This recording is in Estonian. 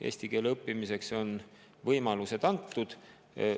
Eesti keele õppimiseks on võimalused antud.